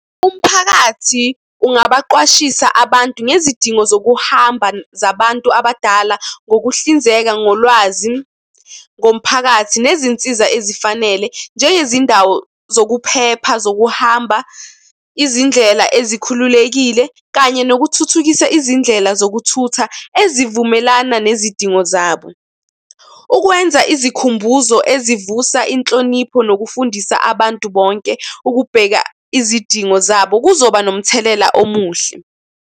Umphakathi ungabaqwashisa abantu ngezidingo zokuhamba zabantu abadala ngokuhlinzeka ngolwazi womphakathi nezinsiza ezifanele. Njengezindawo zokuphepha zokuhamba, izindlela ezikhululekile, kanye nokuthuthukisa izindlela zokuthutha ezivumelana nezidingo zabo. Ukwenza izikhumbuzo ezivusa inhlonipho nokufundisa abantu bonke ukubheka izidingo zabo kuzoba nomthelela omuhle.